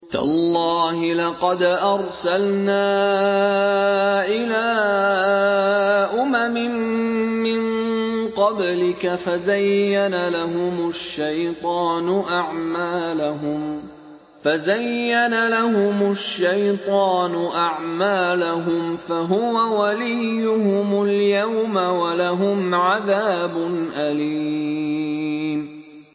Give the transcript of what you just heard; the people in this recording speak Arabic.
تَاللَّهِ لَقَدْ أَرْسَلْنَا إِلَىٰ أُمَمٍ مِّن قَبْلِكَ فَزَيَّنَ لَهُمُ الشَّيْطَانُ أَعْمَالَهُمْ فَهُوَ وَلِيُّهُمُ الْيَوْمَ وَلَهُمْ عَذَابٌ أَلِيمٌ